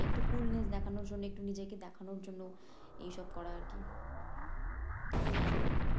একটু দেখনোর জন্য একটু নিজেকে দেখানোর জন্য এইসব করা আরকি আর কিছুই না